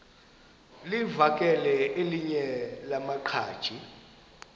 livakele elinye lamaqhaji